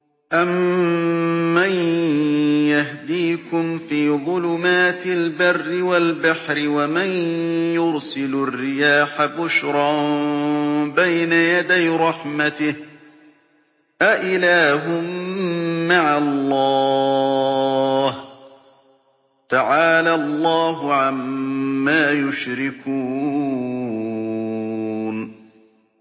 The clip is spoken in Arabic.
أَمَّن يَهْدِيكُمْ فِي ظُلُمَاتِ الْبَرِّ وَالْبَحْرِ وَمَن يُرْسِلُ الرِّيَاحَ بُشْرًا بَيْنَ يَدَيْ رَحْمَتِهِ ۗ أَإِلَٰهٌ مَّعَ اللَّهِ ۚ تَعَالَى اللَّهُ عَمَّا يُشْرِكُونَ